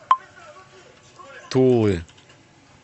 тулы